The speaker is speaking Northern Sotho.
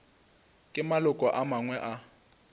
ke maloko a mangwe a